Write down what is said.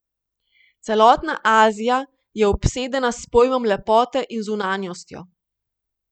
Celotna Azija je obsedena s pojmom lepote in zunanjostjo.